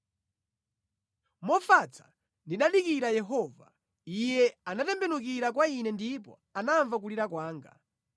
Mofatsa ndinadikira Yehova Iye anatembenukira kwa ine ndipo anamva kulira kwanga.